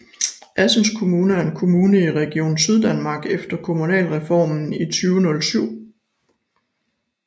Assens Kommune er en kommune i Region Syddanmark efter Kommunalreformen i 2007